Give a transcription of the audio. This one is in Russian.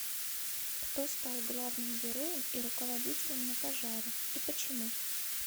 кто стал главным героем и руководителем на пожаре и почему